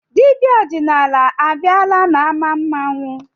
Dibịa ọdịnala abịala n'ámá mmanwụ?